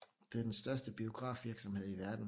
Det er den største biografvirksomhed i verden